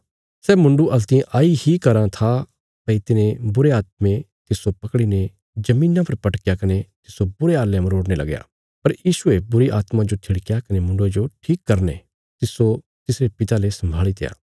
सै मुण्डु हल्तियें आई इ कराँ था भई तिने बुरे आत्मे तिस्सो पकड़ीने धरतिया पर पटकाया कने तिस्सो बुरे हाल्लें मरोड़ने लगया पर यीशुये बुरीआत्मा जो थिड़क्या कने मुण्डुये जो ठीक करीने तिस्सो तिसरे पिता ले साम्भीत्या